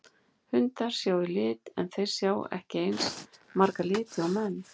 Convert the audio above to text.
Hundar sjá í lit en þeir sjá ekki eins marga liti og menn.